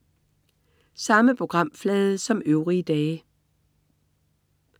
Samme programflade som øvrige dage